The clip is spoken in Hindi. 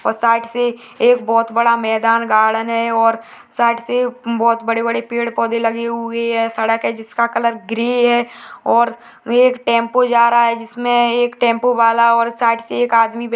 और साइड से एक बहोत बड़ा मेदान गार्डन है और साइड से बहोत बड़े बड़े पेड़ पौधे लगे हुए है सड़क है जिसका कलर ग्रे है और एक टेम्पो जा रहा है जिसमे एक टेम्पो वाला और साइड से एक आदमी --